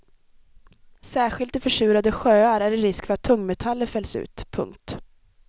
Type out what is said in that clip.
Särskilt i försurade sjöar är det risk för att tungmetaller fälls ut. punkt